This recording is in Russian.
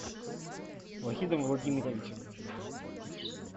вахидом владимировичем